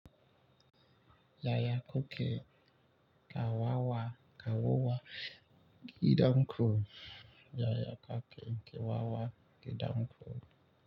Yaya kuke kawawa kawowa gidan kurkuku. Yaya kuke kawowa gidan kurkuku?